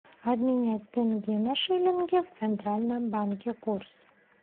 обменять тенге на шиллинги в центральном банке курс